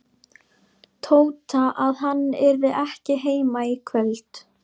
Tóta að hann yrði ekki heima í kvöld.